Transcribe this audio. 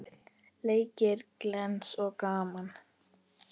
Leikir glens og gaman.